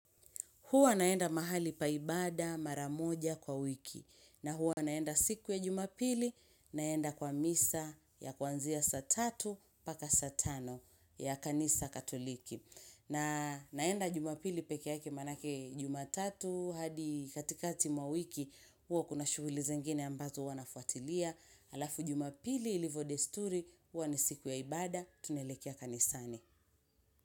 Huwa naenda mahali pa ibada mara moja kwa wiki na huwa naenda siku ya jumapili naenda kwa misa ya kwanzia saa tatu paka saa tano ya kanisa katoliki. Na naenda jumapili peke yake manake jumatatu hadi katikati mwa wiki huwa kuna shughuli zingine ambazo huwa nafuatilia. Alafu jumapili ilivyo desturi huwa ni siku ya ibada tunelekea kanisani.